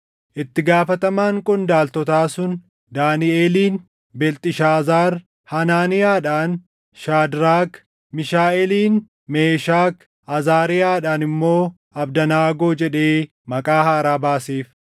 Itti gaafatamaan qondaaltotaa sun Daaniʼeliin Beelxishaazaar, Hanaaniyaadhaan Shaadraak, Miishaaʼeelin, Meeshak, Azaariyaadhaan immoo Abdanaagoo jedhee maqaa haaraa baaseef.